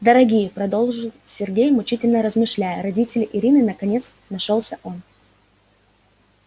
дорогие продолжил сергей мучительно размышляя родители иры наконец нашёлся он